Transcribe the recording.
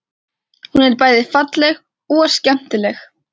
Hún er bæði falleg og skemmtileg.